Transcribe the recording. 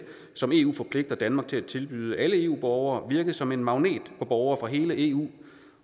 som eu forpligter danmark til at tilbyde alle eu borgere virket som en magnet på borgere fra hele eu